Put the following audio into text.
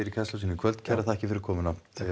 í Kastljósinu í kvöld kærar þakkir fyrir komuna